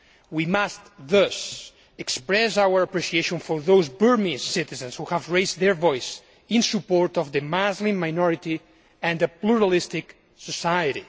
We must thus express our appreciation for those Burmese citizens who have raised their voice in support of the Muslim minority and the pluralistic society.